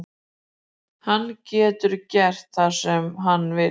Hann getur gert það sem hann vill.